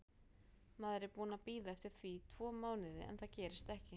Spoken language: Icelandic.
Maður er búinn að bíða eftir því tvo mánuði en það gerist ekki.